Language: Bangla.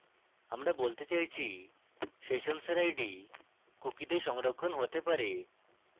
আমি বলতে চাইছি সেশনসের id কুকিতে সংরক্ষণ হতে পারে